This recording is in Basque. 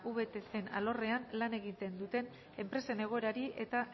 vtcen alorrean lan egiten duten enpresen egoerari eta